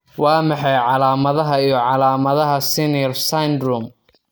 Waa maxay calaamadaha iyo calaamadaha Sener syndrome?